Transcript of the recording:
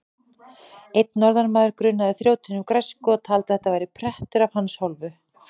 Einn norðanmaður grunaði þrjótinn um græsku og taldi að þetta væri prettur af hans hálfu.